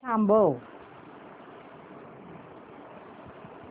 हे गाणं थांबव